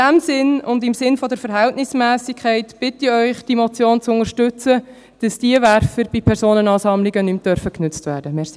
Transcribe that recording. In diesem Sinne und im Sinne der Verhältnismässigkeit bitte ich Sie, diese Motion zu unterstützen, sodass diese Werfer bei Personenansammlungen nicht mehr genutzt werden dürfen.